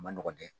A ma nɔgɔn dɛ